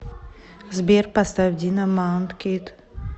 сбер поставь дино маунткид